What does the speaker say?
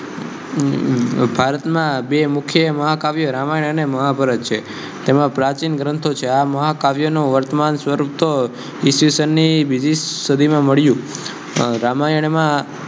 રામાયનમા ભારતના બે મુકે રામાયન અને મહાભારત તેમા પ્રચિન ગ્રંથો છે આ મહાકાવ્યનુ વર્ત્માન સ્વરુપ તો ઇસ્વિસનનિ બિજિ સદિ મા મડ્યુ